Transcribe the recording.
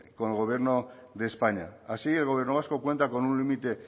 con el gobierno de españa así el gobierno vasco cuenta con un límite